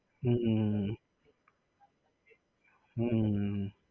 હમ હમ હમ હમ